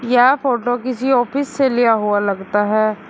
यह फोटो किसी ऑफिस से लिया हुआ लगता है।